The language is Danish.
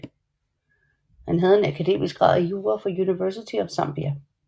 Han havde en akademisk grad i jura fra University of Zambia